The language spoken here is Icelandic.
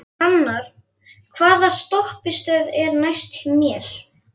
Hrannar, hvaða stoppistöð er næst mér?